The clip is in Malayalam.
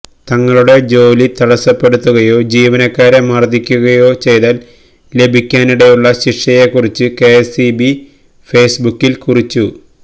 തങ്ങളുടെ ജോലി തടസ്സപ്പെടുത്തുകയോ ജീവനക്കാരെ മര്ദ്ദിക്കുകയോ ചെയ്താല് ലഭിക്കാനിടയുള്ള ശിക്ഷയെക്കുറിച്ച് കെഎസ്ഇബി ഫേസ്ബുക്കില് കുറിച്ചു